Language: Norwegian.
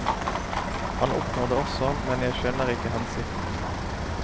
Han oppnår det også, men jeg skjønner ikke hensikten.